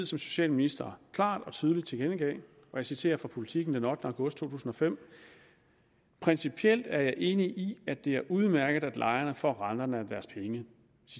socialminister klart og tydeligt tilkendegav og jeg citerer fra politiken den ottende august 2005 principielt er jeg enig i at det er udmærket at lejerne får renterne af deres penge